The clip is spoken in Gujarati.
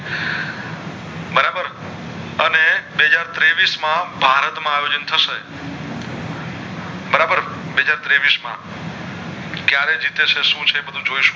બે હાજર ત્રેવીશ માં ભારત માં આયોજન થશે બરાબર બે હાજર ત્રેવીશ માં ક્યારે જીતે છે સુ છે એ બધું જોઈશું